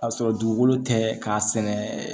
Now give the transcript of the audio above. Ka sɔrɔ dugukolo tɛ k'a sɛnɛ